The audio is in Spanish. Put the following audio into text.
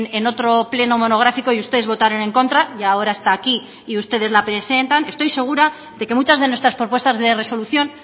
en otro pleno monográfico y ustedes votaron en contra y ahora está aquí y ustedes la presentan estoy segura de que muchas de nuestras propuestas de resolución